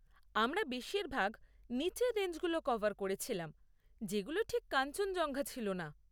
আমরা বেশীরভাগ নিচের রেঞ্জগুলো কভার করেছিলাম যেগুলো ঠিক কাঞ্চনজঙ্ঘা ছিল না।